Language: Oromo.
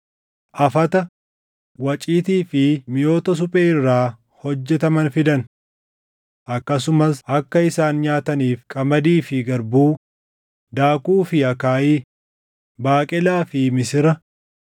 afata, waciitii fi miʼoota suphee irraa hojjetaman fidan. Akkasumas akka isaan nyaataniif qamadii fi garbuu, daakuu fi akaayii, baaqelaa fi misira,